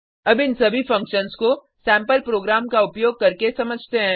अब इन सभी फंक्शन्स को सेम्पल प्रोग्राम को उपयोग करके समझते हैं